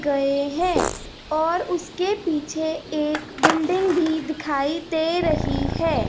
गए है और उसके पीछे एक बिल्डिंग भी दिखाई दे रही है।